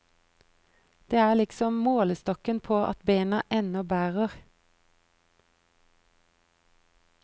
Det er liksom målestokken på at bena ennå bærer.